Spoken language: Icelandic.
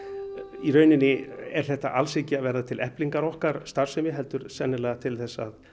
í rauninni er þetta alls ekki til eflingar okkar starfsemi heldur til að